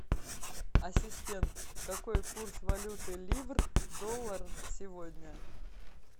ассистент какой курс валюты ливр доллар сегодня